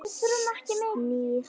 Snýr á hann.